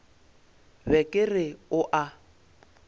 be ke re o a